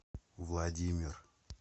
владимир